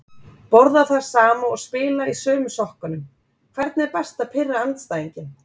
Borða það sama og spila í sömu sokkunum Hvernig er best að pirra andstæðinginn?